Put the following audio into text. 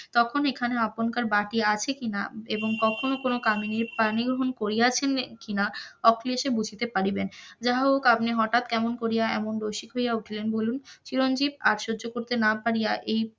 তখন এখানে আপনকার বাটি আছে কিনা এবং কখনো কোন কামিনীর পানি গ্রহন করিয়াছেন কিনা অখিলেশ বুঝিতে পারিবেন, যাহা হউকআপনি কেমন করিয়া এমন রসিক হইয়া উঠিলেন বলুন, চিরঞ্জিব আর সহ্য করতে না পারিয়া এই